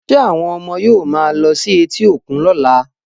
Ṣé àwọn ọmọ yóò máa lọ sí etí òkun lọ́la